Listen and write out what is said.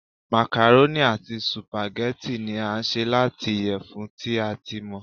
màkàrónì ati sùpàgẹ́tì ni a ṣe lati iyẹfun ti a ti mọ